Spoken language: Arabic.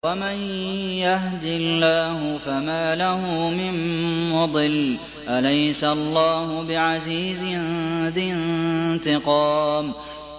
وَمَن يَهْدِ اللَّهُ فَمَا لَهُ مِن مُّضِلٍّ ۗ أَلَيْسَ اللَّهُ بِعَزِيزٍ ذِي انتِقَامٍ